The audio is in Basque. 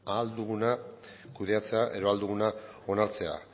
ahal duguna kudeatzea edo ahal duguna onartzea